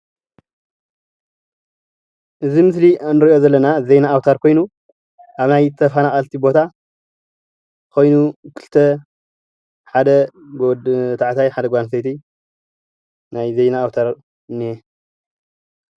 እዚ ምስሊ እንሪኦ ዘለና ዜና ኣውታር ኮይኑ ኣብ ናይ ተፈናቀልቲ ቦታ ኾይኑ ኽልቴ ሓደ ወዲተባዕቸይ ሓንቲ ጓል ኣነስተይቲ ይርአየና ኣሎ።